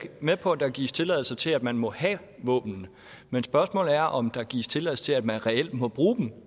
med på at der gives tilladelse til at man må have våbnene men spørgsmålet er om der gives tilladelse til at man reelt må bruge dem